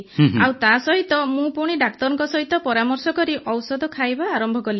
ଆଉ ତାସହିତ ମୁଁ ପୁଣି ଡାକ୍ତରଙ୍କ ସହିତ ପରାମର୍ଶ କରି ଔଷଧ ଖାଇବା ଆରମ୍ଭ କଲି